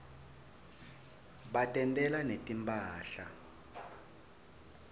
batentela netimphahla